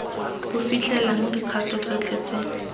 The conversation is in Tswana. bo fitlhelelang dikgato tsotlhe tse